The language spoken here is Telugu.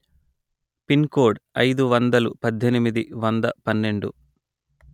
పిన్ కోడ్ అయిదు వందలు పధ్ధెనిమిది వంద పన్నెండు